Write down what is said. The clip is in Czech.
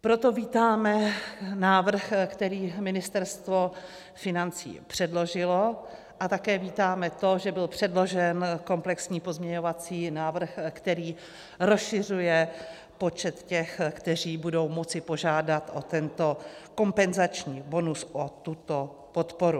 Proto vítáme návrh, který Ministerstvo financí předložilo, a také vítáme to, že byl předložen komplexní pozměňovací návrh, který rozšiřuje počet těch, kteří budou moci požádat o tento kompenzační bonus, o tuto podporu.